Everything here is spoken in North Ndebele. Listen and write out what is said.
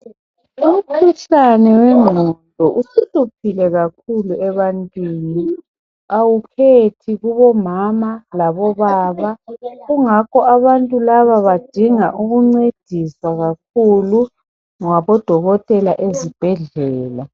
Umkhuhlane wengqondo usuhluphile kakhulu ebantwini awukhethi kubomama labobaba kungakho abantu laba badinga ukuncediswa kakhulu ngabodokotela ezibhedlela